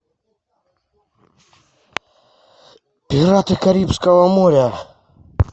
пираты карибского моря